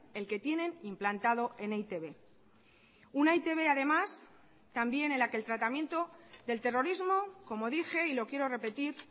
el que tienen implantado en e i te be una e i te be además también en la que el tratamiento del terrorismo como dije y lo quiero repetir